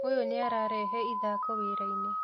ũyũ nĩararehe ithako wĩra-inĩ